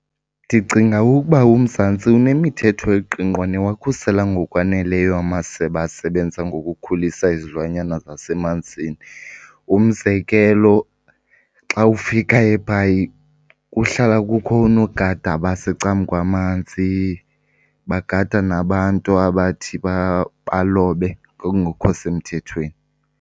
Ndicinga ukuba uMzantsi unemithetho eqingqwa newakhusela ngokwaneleyo amasebe asebenza ngokukhulisa izilwanyana zasemanzini. Umzekelo, xa ufika eBhayi kuhlala kukho oonogada abasecam'kwamanzi bagada nabantu abathi balobe ngokungekho semthethweni.